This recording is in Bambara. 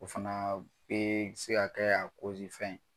O fanaa bee se ka kɛ a fɛn